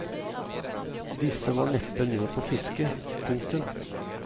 Disse var neppe med på fisket. punktum